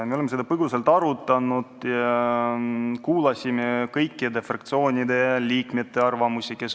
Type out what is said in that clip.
Me oleme seda põgusalt arutanud ja kuulanud kõikide istungil osalenud fraktsioonide liikmete arvamusi.